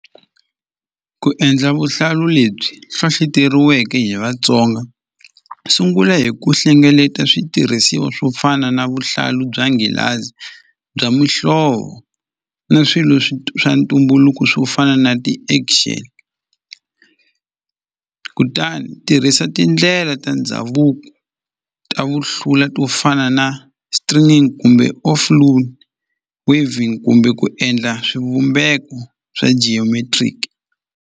Ku endla vuhlalu lebyi hlohloteriweke hi Vatsonga sungula hi ku hlengeleta switirhisiwa swo fana na vuhlalu bya nghilazi bya muhlovo ni swilo swa ntumbuluko swo fana na ti action kutani tirhisa tindlela ta ndhavuko ta vuhlula to fana na kumbe off loan waving kumbe ku endla swivumbeko swa geometric.